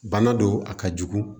Bana don a ka jugu